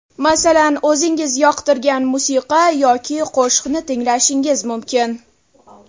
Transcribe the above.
Masalan, o‘zingiz yoqtirgan musiqa yoki qo‘shiqni tinglashingiz mumkin.